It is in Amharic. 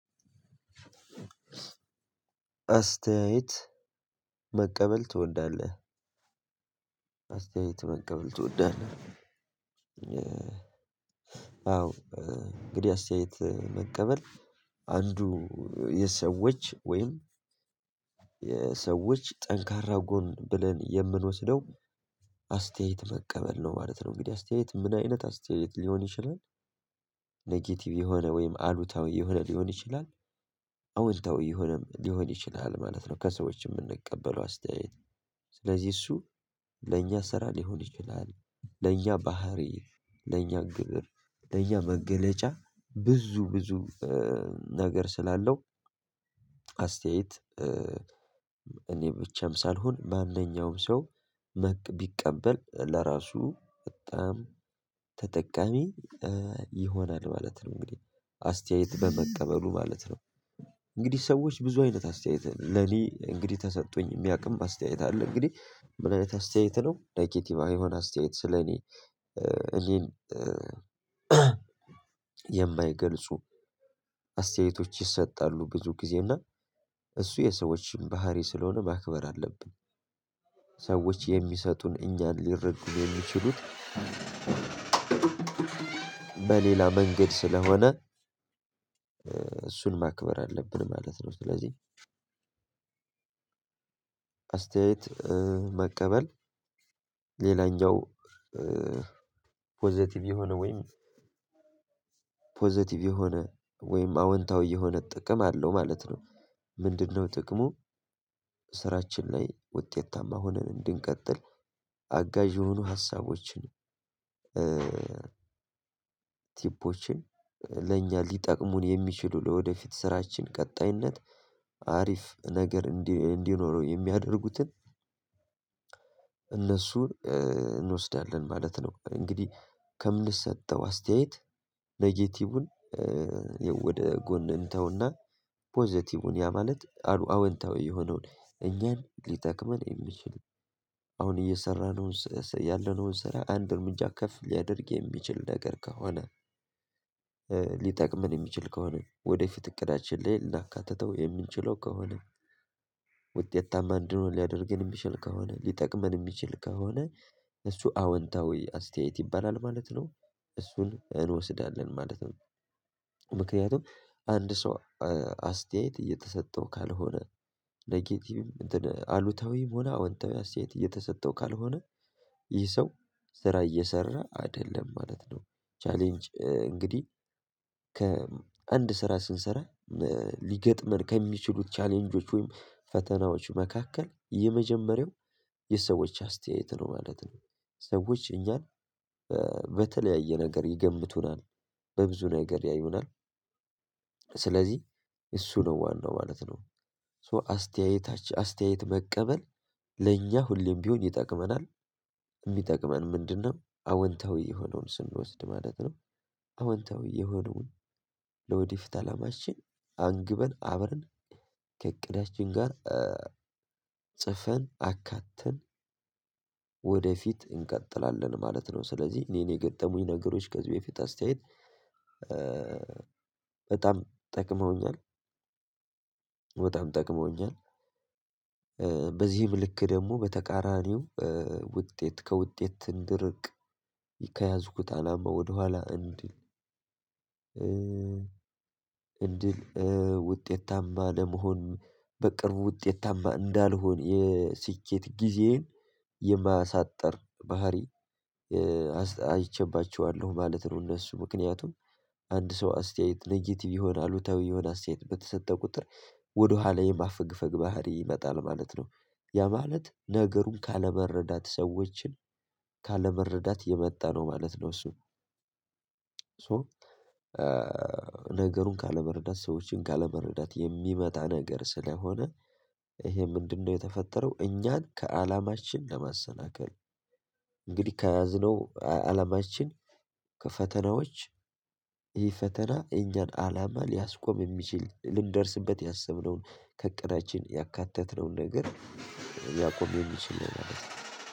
አስተያየት መቀበል ትወዳለህ? አስተያየት መቀበል ትወዳለህ አዎ እንግዲህ አስተያየት መቀበል አንዱ የሰዎች ወይም የሰዎች ጠንካራ ጎን ብለን የምንወስደው አስተያየት መቀበል ነው ማለት ነው። እንግዲህ አስተያየት ምን አይነት አስተያየት ሊሆን ይችላል? ኔጌቲቭ የሆነ ወይም አሉታዊ የሆነ ሊሆን ይችላል። አውንታዊ የሆነም ሊሆን ይችላል ማለት ነው ከሰዎች የምንቀበለው አስተያየት። ስለዚህ እሱ ለእኛ ስራ ሊሆን ይችላል ለእኛ ባህሪ ለእኛ ግብር ለእያንዳንዱ መገለጫ ብዙ ብዙ ነገር ስላለው። አስተያየት እኔ ብቻም ሳልሆን ማንኛውም ሰው መቅ ቢቀበል ለራሱ በጣም ተጠቃሚ ይሆናል ማለት ነው። እንግዲህ አስተያየት በመቀበሉ ማለት ነው። እንግዲህ ሰዎች ብዙ አይነት አስተያየት ለኔ እንግዲህ ተሰጦኝ እሚያውቅም በአስተያየት አለ። እንግዲህ ምን አይነት አስተያየት ነው ነጌቲቭ የሆነ አስተያየት ስለኔ እኔን የማይገልጹ አስተያየቶች ይሰጣሉ ብዙ ጊዜ እና እሱ የሰዎችም ባህሪ ስለሆነ ማክበር አለብን። ሰዎች የሚሰጡን እኛን ሊረዱን የሚችሉት በሌላ መንገድ ስለሆነ። እሱን ማክበር አለብን ማለት ነው። ስለዚህ አስተያየት መቀበል ሌላኛው ፖዘቲቭ የሆነ ወይም ፖዘቲቭ የሆነ ወይም አውንታዊ የሆነ ጥቅም አለው። ማለት ነው ምንድን ነው ጥቅሙ? ስራችን ላይ ውጤታማ ሆነን እንድንቀጥል አጋዥ የሆኑ ሀሳቦችን ቲፖችን ለእኛ ሊጠቅሙን የሚችሉ ለወደፊት ስራችን ቀጣይነት አሪፍ ነገር እንዲኖረው የሚያደርጉትን እነሱን እንወስዳለን ማለት ነው። እንግዲህ ከምን ሰጠው አስተያየት ኔጌቲቭን ወደ ጎን እንተውና ፖዘቲቭን ያ ማለት አሉ አወንታዊ የሆነውን እኛን ሊጠቅመን እሚችል አሁን እየሰራን ያለነውን ስራ አንድ እርምጃ ከፍ ሊያደርግ የሚችል ነገር ከሆነ። ሊጠቅመን እሚችል ከሆነ ወደፊት እቅዳችን ላይ ልናካትተው የምንችለው ከሆነ። ውጤታማ እንድንሆን ሊያደርገን እሚችል ከሆነ ሊጠቅመን እሚችል ከሆነ እሱ አወንታዊ አስተያየት ይባላል ማለት ነው። እሱን እንወስዳለን ማለት ነው። ምክንያቱም አንድ ሰው አስተያየት እየተሰጠው ካልሆነ ኔጌቲቭ አሉታዊም ሆነ አውንታዊ አስተያያት እየተሰጠው ካልሆነ ይህ ሰው ስራ እየሰራ አይደለም ማለት ነው። ቻሌንጅ እንግዲህ ከአንድ ስራ ስንሰራ ሊገጥመን ከሚችሉት ቻሌንጆች ወይም ፈተናዎች መካከል የመጀመሪያው የሰዎች አስተያየት ነው ማለት ነው። ሰዎች እኛን በተለያየ ነገር ይገምቱናል በብዙ ነገር ያዩናል ስለዚህ እሱ ነው ዋናው ማለት ነው። ሶ አስተያየታችን አስተያየት መቀበል ለኛ ሁሌም ቢሆን ይጠቅመናል። እሚጠቅመን ምንድን ነው? አወንታዊ የሆነውን ስንወስድ ማለት ነው። አዎንታዊ የሆነውን ለወደፊት አላማችን አንግበን አብረን ከእቅዳችን ጋር ጽፈን አካተን ወደፊት እንቀጥላለን ማለት ነው። ስለዚህ እኔን የገጠሙኝ ነገሮች ከዚህ በፊት አስተያየት በጣም ጠቅመውኛል። በጣም ጠቅመውኛል። ልክ ደግሞ በተቃራኒው ውጤት ከውጤት ትንድርቅ ከያዝኩት አላማ ወደኋላ እንድል እ ውጤታማ ለመሆን በቅርቡ ውጤታማ እንዳልሆን የስኬት ጊዜዬን የማሳጠር ባህሪ አይቸባቸዋለሁ ማለት ነው። እነሱ ምክንያቱም አንድ ሰው አስተያየት ነጌቲቭ የሆነ አሉታዊ የሆነ አስተያየት በተሰጠ ቁጥር ወደኋላ የማፈግፈግ ባህሪ ይመጣል ማለት ነው። ያ ማለት ነገሩን ካለበረዳት ሰዎችን ካለበረዳት የመጣ ነው ማለት ነው። እሱ ሶ ነገሩን ካለመረዳት ሰዎችን ካለመረዳት የሚመጣ ነገር ስለሆነ ይሄ ምንድነው? የተፈጠረው እኛን ከአላማችን ለማሰናከል እንግዲህ ከያዝነው አለማችን ከፈተናዎች ይህ ፈተና የእኛን አላማ ሊያስቆም የሚችል ልንደርስበት ያሰብነውን ከቀናችን ያካተትነውን ነገር ያቆመ ይመስለኛል ማለት ነው።